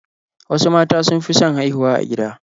Wasu mata sun fi son haihuwa a gida